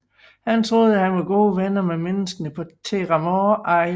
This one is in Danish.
Han troede at han var gode venner med menneskerne på Theramore Isle